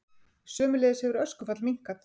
Sömuleiðis hefur öskufall minnkað